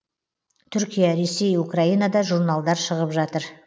түркия ресей украинада журналдар шығып жатыр